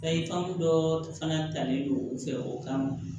dɔɔ fana talen don u fɛ o kama